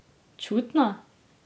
Čutna?